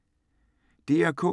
DR K